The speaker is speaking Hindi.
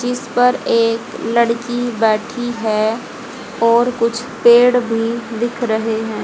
इस पर एक लड़की बैठी है और कुछ पेड़ भी दिख रहे हैं।